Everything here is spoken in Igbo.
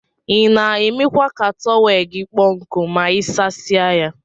Ina emekwa ka tọwel gi kpọ nku ma isasie ya.